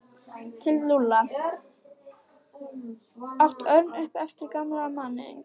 Til Lúlla? át Örn upp eftir gamla manninum.